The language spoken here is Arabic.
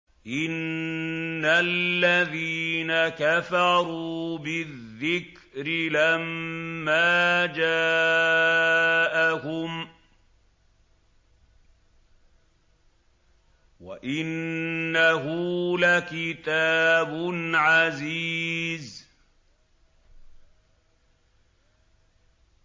إِنَّ الَّذِينَ كَفَرُوا بِالذِّكْرِ لَمَّا جَاءَهُمْ ۖ وَإِنَّهُ لَكِتَابٌ عَزِيزٌ